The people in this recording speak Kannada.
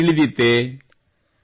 ಇದು ತಮಗೆ ತಿಳಿದಿತ್ತೇ